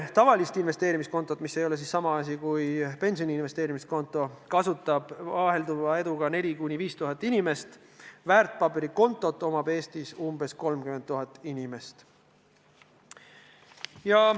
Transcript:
Tavalist investeerimiskontot – see ei ole sama asi, mis pensioni investeerimiskonto – kasutab vahelduva eduga 4000–5000 inimest, väärtpaberikonto on Eestis umbes 30 000 inimesel.